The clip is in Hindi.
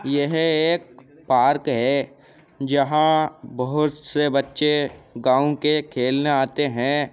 यह एक पार्क है जहां बहोत से बच्चे गांव के खेलने आते हैं।